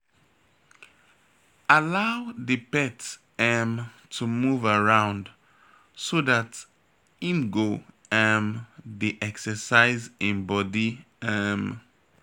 Allow di pet um to move around so dat im go um dey exercise im body um